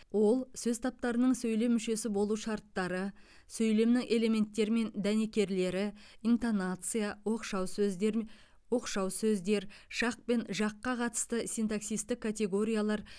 ол сөз таптарының сөйлем мүшесі болу шарттары сөйлемнің элементтері мен дәнекерлері интонация оқшау сөздер м оқшау сөздер шақ пен жаққа қатысты синтаксистік категориялар